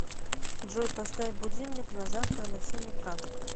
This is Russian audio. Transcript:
джой поставь будильник на завтра на семь утра